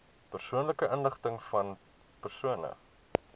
persoonlike inligtingvan persone